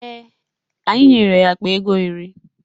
Ee, anyị nyere ya akpa ego iri.